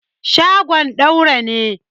shagon Daura ne